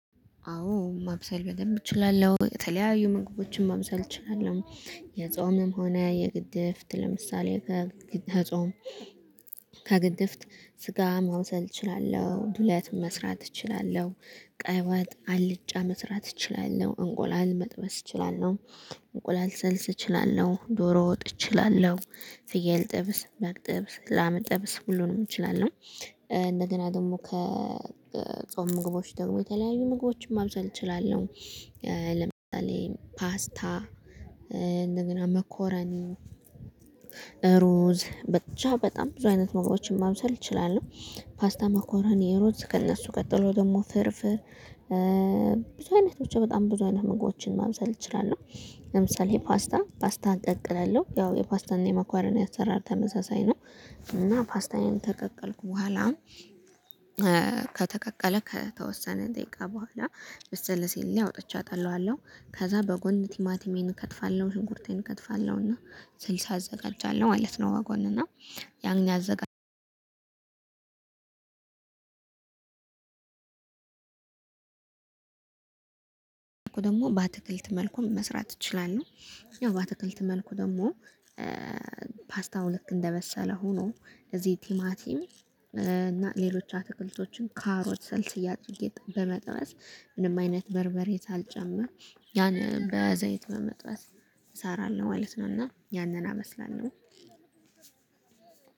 አዎ ማብሰል በደንብ እችላለሁ የተለያዩ ምግቦችን ማብሰል እችላለሁ የጾምም ሆነ የግድፍት ለምሳሌ ከጾም ከግድፍት ስጋ ማብሰል እችላለሁ ዱለት መስራት እችላለሁ ቀይወጥ አልጫ መስራት እችላለሁ እንቁላል መጥበስ እችላለሁ እንቁላል ሰልስ እችላለሁ ዶሮ ወጥ እችላለሁ ፍዬል ጥብስ በግ ጥብስ ላም ጥብስ ሁሉንም እችላለሁ። እንደገና ደግሞ ከጾም ምግቦች ደግሞ የተለያዩ ምግቦችን ማሰብል እችላለሁ። ለምሳሌ ፓስታ እንደገና መኮሮኒ ሩዝ ብቻ በጣም ብዙ አይነት ምግቦችን ማብሰል እችላለሁ። ፓስታ መኮሮኒ ሩዝ ከእነሱ ቀጥሎ ደግሞ ፍርፍር ብዙ አይነቶች በጣም ብዙ አይነት ምግቦችን ማብሰል እችላለሁ። ለምሳሌ ፓስታ ፓስታ እቀቅላለው ያው የፓስታና የመኮሮኒ አሰራር ተመሳሳይ ነው። እና ፓስታዬን ከቀቀልኩ በኋላ ከተቀቀለ ከተወሰነ ደቅቃ በኋላ በስል ስል አውጥቻታለሁ ከዛ በጎን ቲማቲሜን እከትፋለሁ ሽንኩርቴን እከትፋለሁና ስልሳ አዘጋጃለሁ ማለት ነው። በጎን እና ያን አዘጋጃለሁ። እኮ ደግሞ በአትክልት መልኩ መስራት እችላለሁ። ያው በአትክልት መልኩ ደግሞ ፓስታው ልክ እንደበሰለ ሆኖ እዚህ ቲማቲም እና ሌሎች አትክልቶችን ካሮት ሰልስ አድረገ በመጥበስ ምንም አይነት ሳልጨመር ያንን በዘይት በመጥበስ እሰራለሁ ማለት ነው። እና ያንን አበስላለሁ።